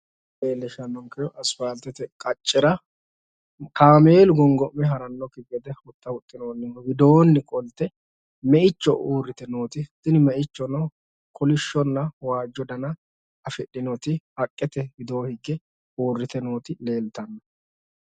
tini misile leellishshannonkehu asipaaltete qaccera kaameelu gongo'me ha'rannokki gede huxxa huuxxinoonnihu widoonni qolte meicho uurrite nooti tini meichono kolishshonna waajjo dana afi'dhinoti haqqete wido higge uurrite nooti leeltanno.